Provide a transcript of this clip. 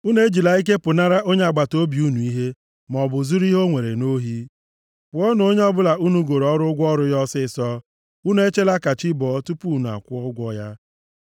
“ ‘Unu ejila ike pụnara onye agbataobi unu ihe ya, maọbụ zuru ihe o nwere nʼohi. “ ‘Kwụọnụ onye ọbụla unu goro ọrụ ụgwọ ọrụ ya ọsịịsọ. Unu echela ka chi bọọ tupu unu akwụọ ya ụgwọ ya.